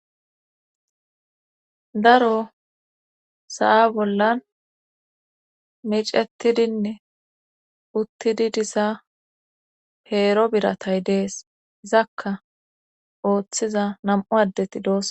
Daro sa'a bollan micetidinne uttidi diza peero biratay dees izakka ooththiza nam'u addeti doos.